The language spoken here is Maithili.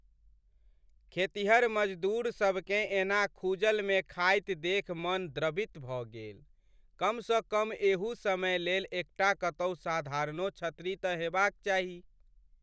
खेतिहर मज़दूर सभकेँ एना खूहल में खाइत देखि मन द्रवित भऽ गेल। कमसँ कम एहू समय लेल एकटा कतहु साधारणो छतरी त हेबाक चाही।